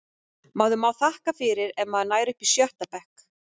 Maður má þakka fyrir ef maður nær upp í sjötta bekk.